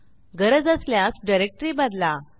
गरज असल्यास डायरेक्टरी बदला